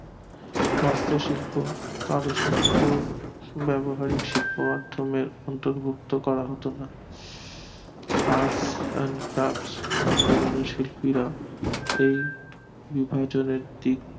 হস্ত শিল্প চারু শিল্প ব্যাবহারিক শিল্প মাধ্যমে দুর্বত্ত করা হতো না আজ শিল্পীরা বিভাজনের দিক